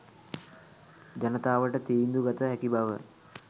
ජනතාවට තීන්දු ගත හැකි බව